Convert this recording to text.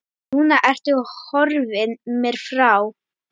Núna ertu horfin mér frá.